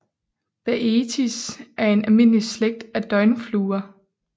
Baetis er en almindelig slægt af døgnfluer